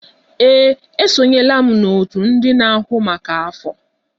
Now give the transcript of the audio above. Ee, esonyela m n'òtù ndị na-ahụ maka afọ.